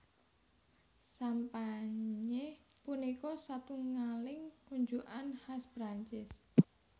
Sampanye punika satungaling unjukan khas Prancis